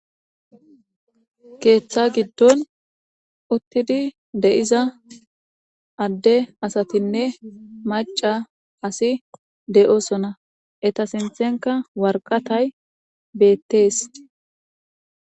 Keeththa giddon uttidi de7iza adde asatinne maca asi de7osona eta sinthenka warqatay beettees.